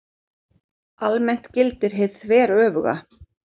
Almennt gildir hið þveröfuga.